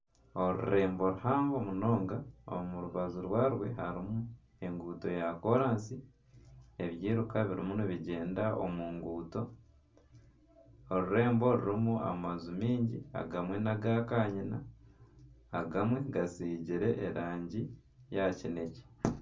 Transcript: Orurembo ruhango munonga omu rubaju rwarwo harimu enguuto ya koraasi ebyiruka birimu nibigyenda omu nguuto orurembo rurimu amaju maingi agamwe na agakanyina, agamwe gasigire erangi ya kineekye